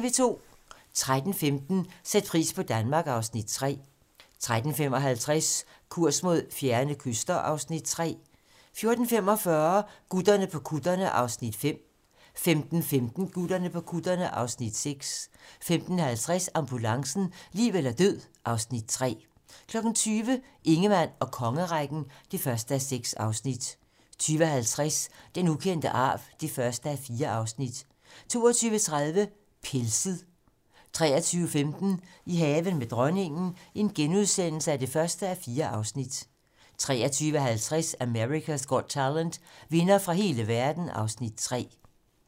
13:15: Sæt pris på Danmark (Afs. 3) 13:55: Kurs mod fjerne kyster (Afs. 3) 14:45: Gutterne på kutterne (Afs. 5) 15:15: Gutterne på kutterne (Afs. 6) 15:50: Ambulancen - liv eller død (Afs. 3) 20:00: Ingemann og kongerækken (1:6) 20:50: Den ukendte arv (1:4) 22:30: Pelset 23:15: I haven med dronningen (1:4)* 23:50: America's Got Talent - vindere fra hele verden (Afs. 3)